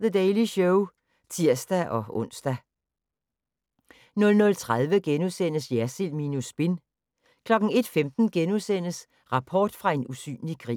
The Daily Show (tir-ons) 00:30: Jersild minus spin * 01:15: Rapport fra en usynlig krig *